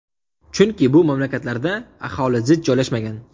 Chunki bu mamlakatlarda aholi zich joylashmagan.